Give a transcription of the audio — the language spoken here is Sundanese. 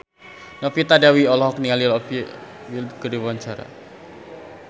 Novita Dewi olohok ningali Olivia Wilde keur diwawancara